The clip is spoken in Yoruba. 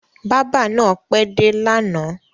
Bábà náà pẹ́ dé lánàá.